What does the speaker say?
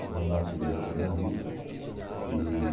Quando eu nasci, ele já tinha morrido. E